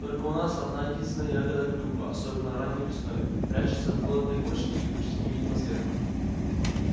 только у нас одна-единственная ягода клюква особенно ранней весной прячется в болотной кочке и почти невидима сверху